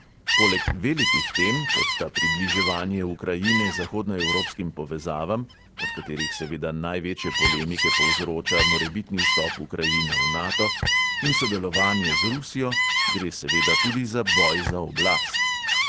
Poleg velikih tem, kot sta približevanje ukrajine zahodnoevropskim povezavam (od katerih seveda največje polemike povzroča morebitni vstop ukrajine v nato) in sodelovanje z rusijo, gre seveda tudi za boj za oblast.